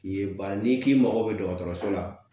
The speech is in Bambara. Ye baara n'i k'i mago bɛ dɔgɔtɔrɔso la